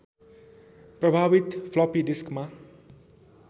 प्रभावित फ्लपि डिस्कमा